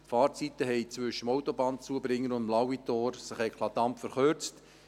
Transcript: Die Fahrzeiten zwischen dem Autobahnzubringer und dem Lauitor haben sich eklatant verkürzt;